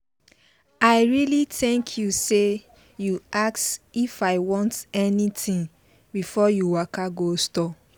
i really thank you sey you ask if i want anything before you waka go store.